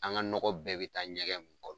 An ka nɔgɔn bɛɛ be taa ɲɛgɛn kɔrɔ.